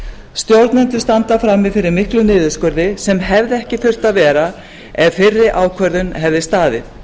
stjórnendur standa frammi fyrir miklum niðurskurði sem hefði ekki þurft að vera ef fyrri ákvörðun hefði staðið